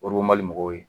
mɔgɔw ye